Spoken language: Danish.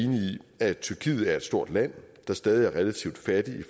at tyrkiet er et stort land der stadig er relativt fattigt i